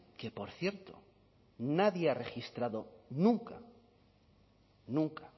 que por cierto nadie ha registrado nunca nunca